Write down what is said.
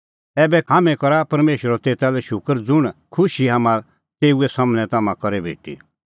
ऐबै करा हाम्हैं थारै बारै परमेशरो शूकर हाम्हैं करा परमेशरो तेता लै शूकर ज़ुंण खुशी हाम्हां तेऊ सम्हनै तम्हां करै भेटी